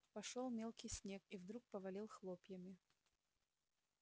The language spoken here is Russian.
пошёл мелкий снег и вдруг повалил хлопьями